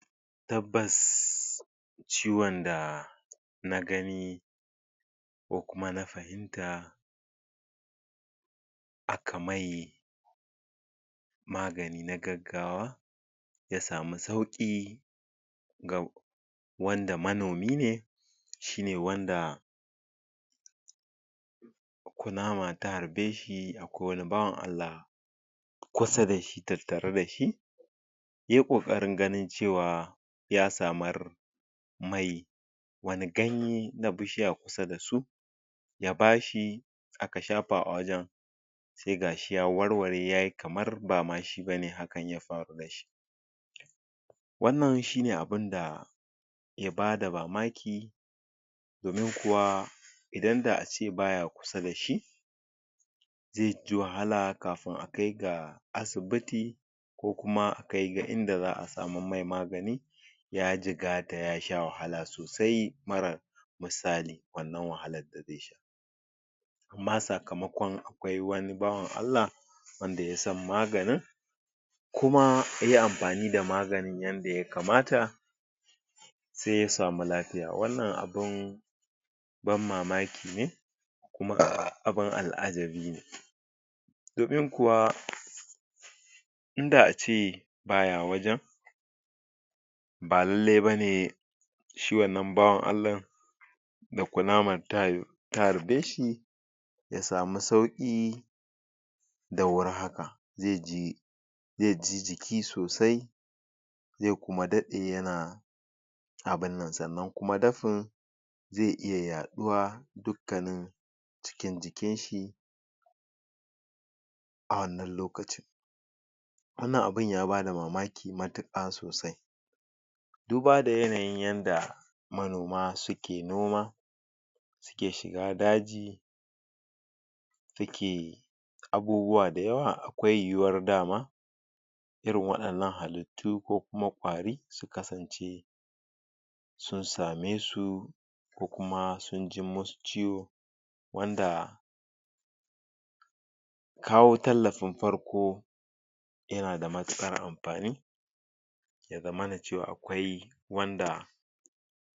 Tabbas ciwon da na gani ko kuma na fahimta aka mai magani na gaggawa Ya samu sauƙi ga wanda manomi ne shine wanda kunama ta harbe shi da ko wani bawan Allah kusa da shi tattare da shi yayi ƙoƙarin ganin cewa ya samar mai wani ganye na bishiya kusa da su ya bashi aka shafa a wajen sai gashi ya warware yayi kamar ba ma shi bane hakan ya faru da shi wannan shine abunda ke bada mamaki domin kuwa idan da ace baya kusa da shi zai ji wahala kafin a kai ga asibiti ko kuma a kai ga inda za a samar mai magani ya jigata ya sha wahala sosai marar misali wannan wahalar da zai sha amma sakamakon akwai wani bawan Allah wanda yasan maganin kuma ya iya amfani da maganin yadda ya kamata sai ya samu lafiya. wannan abun ban mamaki ne kuma abun al'ajabi ne domin kuwa in da ace baya wajen ba lallai bane si=hi wannan bawan Allahn da kunaman ta harbe shi ya samu sauƙi da wuri haka zai ji zai ji jiki sosai zai kuma daɗe yana abunnan sannan kuma dafin zai iya yaɗuwa dukkanin cikin jikin shi a wannan lokacin wannan abun ya bada mamaki matuƙa sosai duba da yanayin yanda manoma suke noma suke shiga daji suke abubuwa dayawa akwai yiwuwar dama irin waɗannan halittu ko kuma ƙwari su kasance sun same su ko kuma sun jin musu ciwo wanda kawo tallafin farko yana da matuƙar amfani ya zamana cewa akwai wanda